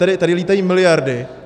Tady lítají miliardy.